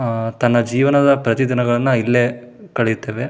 ಆಹ್ಹ್ ತನ್ನ ಜೀವನದ ಪ್ರತಿ ದಿನಗಳನ್ನು ಇಲ್ಲೇ ಕಳೆಯುತ್ತೇವೆ-